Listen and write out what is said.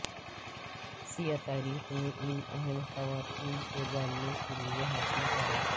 سیاہ تاریخ میں ان اہم خواتین کو جاننے کے لئے حاصل کریں